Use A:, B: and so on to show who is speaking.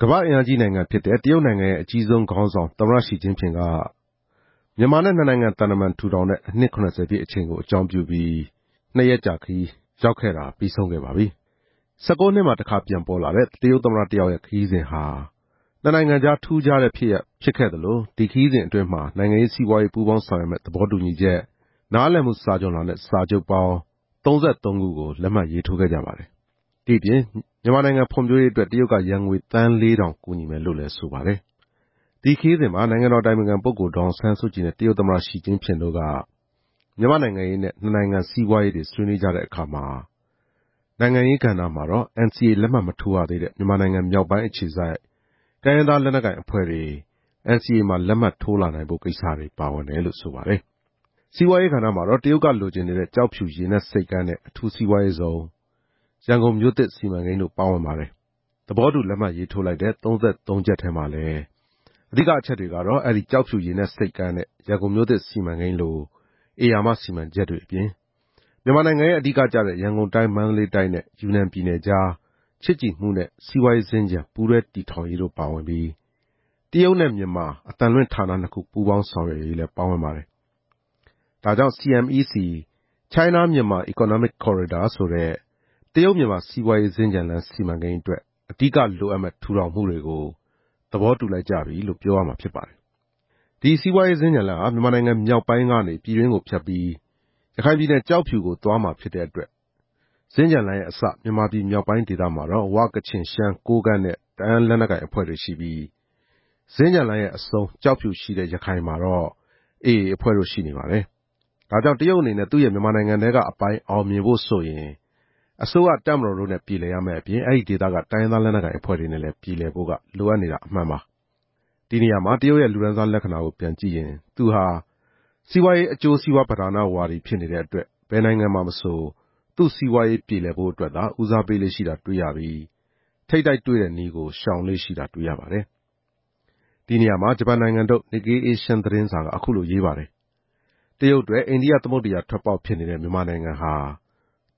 A: ကမ္ဘာ့အင်အားကြီးနိုင်ငံဖြစ်တဲ့ တရုတ်နိုင်ငံရဲ့အကြီးဆုံးခေါင်းဆောင် သမ္မတရှီကျင့်ဖျင်က နှစ်နိုင်ငံသံတမန် ထူထောင်တဲ့အနှစ် ၇ဝ ပြည့်ချိန်ကို အကြောင်းပြုပြီး မြန်မာနိုင်ငံကို လာသွားခဲ့ပါပြီ။ ၁၉ နှစ်မှာ တခါပြန်ပေါ်လာတဲ့ တရုတ်သမ္မတတယောက်ရဲ့ ခရီးစဉ်ဟာ နှစ်နိုင်ငံကြား ထူးခြားတဲ့ ဖြစ်ရပ်ဖြစ်ခဲ့သလို ဒီခရီးစဉ်အတွင်းမှာ နိုင်ငံရေး၊ စီးပွားရေး ပူးပေါင်းဆောင်ရွက်မယ့် သဘောတူညီချက်၊ နားလည်မှုစာချွန်လွှာနဲ့ စာချုပ်ပေါင်း ၃၃ ခု ကို လက်မှတ်ရေးထိုးခဲ့ကြပါတယ်။ ဒီ့အပြင် မြန်မာဖွံ့ဖြိုးရေးအတွက် တရုတ်က ယွမ်ငွေသန်းလေးထောင် ကူညီမယ်လို့လည်း ဆိုပါတယ်။ ဒီခရီးစဉ်မှာ နိုင်ငံတော်အတိုင်ပင်ခံပုဂ္ဂိုလ် ဒေါ်အောင်ဆန်းစုကြည်နဲ့ တရုတ်သမ္မတ ရှီကျင့်ဖျင်တို့က မြန်မာ့နိုင်ငံရေးနဲ့ နှစ်နိုင်ငံစီးပွားရေးတွေ ဆွေးနွေးကြတဲ့အခါမှာ နိုင်ငံရေးကဏ္ဍအတွက် NCA လက်မှတ်မထိုးရသေးတဲ့ မြန်မာနိုင်ငံမြောက်ပိုင်းအခြေစိုက် တိုင်းရင်းသားလက်နက်ကိုင်အဖွဲ့တွေ NCA မှာ လက်မှတ်ထိုးလာနိုင်ဖို့ကိစ္စ ပါဝင်တယ်လို့ သိရပါတယ်။ စီးပွားရေးကဏ္ဍမှာတော့ တရုတ်က လိုချင်နေတဲ့ ကျောက်ဖြူရေနက်ဆိပ်ကမ်းနဲ့ အထူးစီးပွားရေးဇုန်၊ ရန်ကုန်မြို့သစ်စီမံကိန်းတို့ ပါဝင်ပါတယ်။ သဘောတူလက်မှတ်ထိုးလိုက်တဲ့ ၃၃ ချက်မှာလဲ အဲဒီကျောက်ဖြူရေနက်ဆိပ်ကမ်းနဲ့ ရန်ကုန်မြို့သစ်စီမံကိန်းလို ဧရာမစီမံချက်တွေအပြင် မြန်မာနိုင်ငံရဲ့ အဓိကကျတဲ့ ရန်ကုန်တိုင်း၊ မန္တလေးတိုင်းနဲ့ ယူနန်ပြည်နယ်ကြား ချစ်ကြည်မှုနဲ့ စီးပွားရေးစင်္ကြန် ပူးတွဲတည်ထောင်ရေးတို့ပါပြီး၊ တရုတ်နဲ့မြန်မာ အသံလွှင့်ဌာနနှစ်ခု ပူးပေါင်းဆောင်ရွက်ရေးလည်း ပါဝင်ပါတယ်။ ဒါကြောင့် CMEC – China Myanmar Economic Corridor ဆိုတဲ့ တရုတ်-မြန်မာစီးပွားရေးစင်္ကြန်လမ်း စီမံကိန်းအတွက် အဓိကလိုအပ်မယ့် ထူထောင်မှုတွေကို သဘောတူလိုက်ကြပြီလို့ ပြောရမှာ ဖြစ်ပါတယ်။ ဒီစီးပွားရေးစင်္ကြန်လမ်းဟာ မြန်မာနိုင်ငံမြောက်ပိုင်းကနေ ပြည်တွင်းကိုဖြတ်ပြီး ကျောက်ဖြူကို သွားမှာဖြစ်တဲ့အတွက် စင်္ကြန်လမ်းရဲ့အစ မြန်မာပြည်မြောက်ပိုင်းဒေသမှာတော့ ဝ၊ ကချင်၊ ရှမ်း၊ ကိုးကန့်နဲ့ တအာင်းလက်နက်ကိုင်အဖွဲ့တွေရှိပြီး၊ စင်္ကြန်လမ်းရဲ့အဆုံး ကျောက်ဖြူရှိတဲ့ ရခိုင်မှာတော့ AA အဖွဲ့တို့ ရှိနေပါတယ်။ ဒါကြောင့် တရုတ်အနေနဲ့ သူ့ရဲ့မြန်မာနိုင်ငံထဲကအပိုင်း အောင်မြင်ဖို့ဆိုရင် အစိုးရ၊ တပ်မတော်တို့နဲ့ပြေလည်ရမယ့်အပြင် အဲဒီဒေသက တိုင်းရင်းသားလက်နက်ကိုင်အဖွဲ့တွေနဲ့လည်း ပြေလည်ဖို့က လိုအပ်နေတာအမှန်ပါ။ ဒီနေရာမှာ တရုတ်ရဲ့လူတန်းစားလက္ခဏာကိုပြန်ကြည့်ရင် သူဟာ စီးပွားရေးအကျိုးစီးပွားပဓာနဝါဒီ ဖြစ်နေတဲ့အတွက် ဘယ်နိုင်ငံမှာမဆို သူ့စီးပွားရေးပြေလည်ဖို့အတွက်သာ ဦးစားပေးလေ့ရှိတာတွေ့ရပြီး ထိပ်တိုက်တွေ့တဲ့နည်းကို ရှောင်လေ့ရှိတာတွေ့ရပါတယ်။ ဒီနေရာမှာ ဂျပန်နိုင်ငံထုတ် Nikkei Asian သတင်းစာက အခုလိုရေးပါတယ်။ တရုတ်အတွက် အိန္ဒိယသမုဒ္ဒရာထွက်ပေါက်ဖြစ်နေတဲ့ မြန်မာနိုင်ငံဟာ